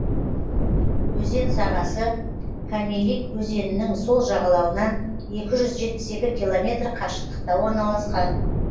өзен сағасы камелик өзенінің сол жағалауынан екі жүз жетпіс екі километр қашықтықта орналасқан